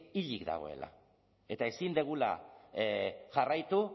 hilik dagoela eta ezin dugula jarraitu